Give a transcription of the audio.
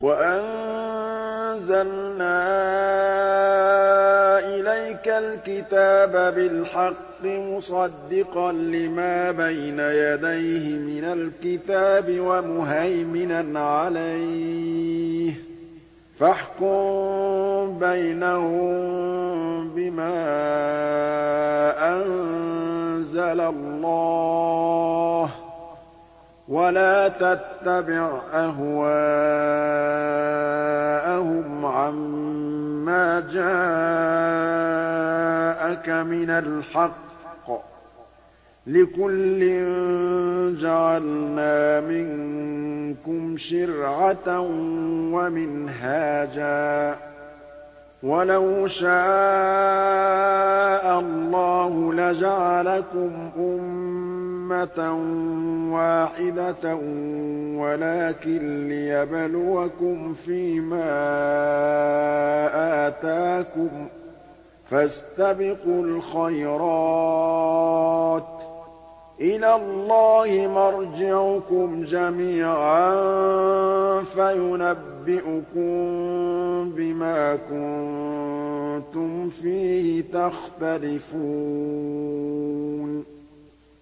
وَأَنزَلْنَا إِلَيْكَ الْكِتَابَ بِالْحَقِّ مُصَدِّقًا لِّمَا بَيْنَ يَدَيْهِ مِنَ الْكِتَابِ وَمُهَيْمِنًا عَلَيْهِ ۖ فَاحْكُم بَيْنَهُم بِمَا أَنزَلَ اللَّهُ ۖ وَلَا تَتَّبِعْ أَهْوَاءَهُمْ عَمَّا جَاءَكَ مِنَ الْحَقِّ ۚ لِكُلٍّ جَعَلْنَا مِنكُمْ شِرْعَةً وَمِنْهَاجًا ۚ وَلَوْ شَاءَ اللَّهُ لَجَعَلَكُمْ أُمَّةً وَاحِدَةً وَلَٰكِن لِّيَبْلُوَكُمْ فِي مَا آتَاكُمْ ۖ فَاسْتَبِقُوا الْخَيْرَاتِ ۚ إِلَى اللَّهِ مَرْجِعُكُمْ جَمِيعًا فَيُنَبِّئُكُم بِمَا كُنتُمْ فِيهِ تَخْتَلِفُونَ